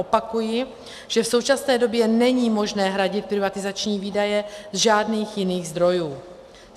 Opakuji, že v současné době není možné hradit privatizační výdaje ze žádných jiných zdrojů.